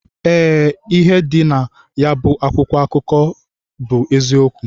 Ee, ịhe dị nayabu akwụkwọ akụkọ bụ eziokwu.